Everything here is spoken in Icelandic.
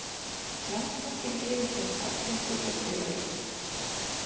Landsbankinn yfirtók alla hlutabréfaeign